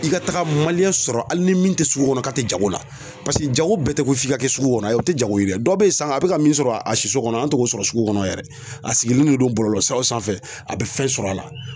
I ka taga sɔrɔ hali ni min tɛ sugu kɔnɔ k'a tɛ jago la paseke jago bɛɛ tɛ ko f'i ka kɛ sugu kɔnɔ, ayi, o tɛ jago ye dɛ, dɔ bɛ san na, a bi ka min sɔrɔ, a siso kɔnɔ an t'o k'o sɔrɔ sugu kɔnɔ yɛrɛ, a sigilen de don bɔlɔlɔsiraw sanfɛ a bɛ fɛn sɔrɔ a la.